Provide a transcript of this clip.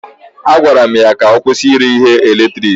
A gwara m ya ka ọ kwụsị ire ihe eletiriki.